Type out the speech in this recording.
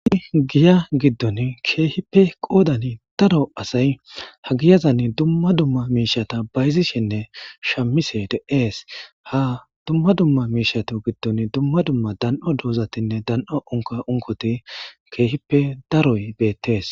I giya giddon keehippe qoodan daro asay ha giyazanni dumma dumma miishata bayzishinne shamise de'ees ha dumma dumma miishato giddon dumma dumma dan'o doozatinne dan'o unka unkoti keehippe daroy beettees.